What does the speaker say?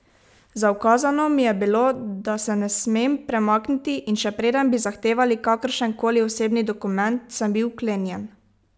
Zaukazano mi je bilo, da se ne smem premakniti, in še preden bi zahtevali kakršen koli osebni dokument, sem bil vklenjen.